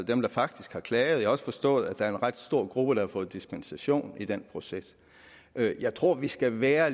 dem der faktisk har klaget også forstået at der er en ret stor gruppe der har fået dispensation i den proces jeg tror vi skal være